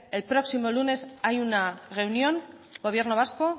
el próximo lunes hay una reunión gobierno vasco